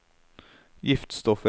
giftstoffer